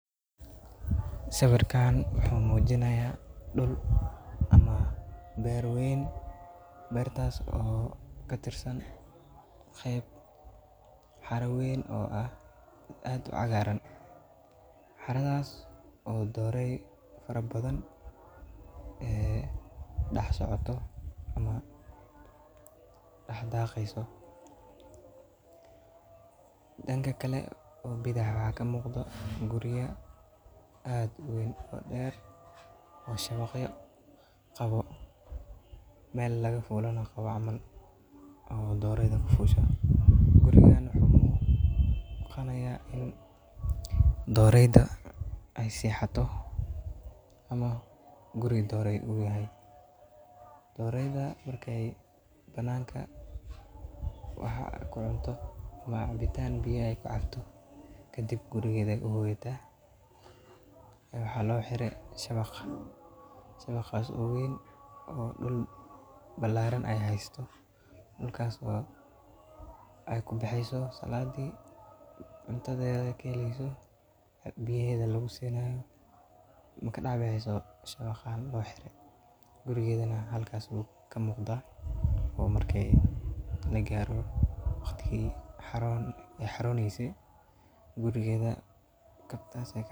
Sawirkan wuxu mujinaya dhul ama beer weyn loo habeyay. Waxaa muuqda in dhulkan uu leeyahay dhir kala duwan ama dalagyo la beero, taasoo muujinaysa in loo adeegsado dhanka beeraha. Waxaa laga dareemayaa in uu yahay meel furan oo ballaaran, taasoo ka dhigan in dhulku yahay mid ku habboon wax-soo-saarka beeraha. Waxa kale oo suuragal ah in lagu dhaqdo xoolaha ama laga sameeyo horumarinta deegaanka sida abuurista kaymo ama beero u gurigeda.